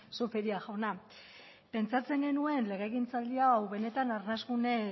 zupiria jauna pentsatzen genuen legegintzaldi hau benetan arnasgune